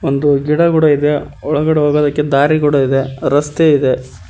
ಒಂದು ಗಿಡ ಗುಡ ಇದೆ ಒಳಗಡೆ ಹೋಗದಕ್ಕೆ ದಾರಿ ಗುಡ ಇದೆ ರಸ್ತೆ ಇದೆ.